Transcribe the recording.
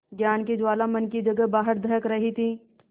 ज्ञान की ज्वाला मन की जगह बाहर दहक रही थी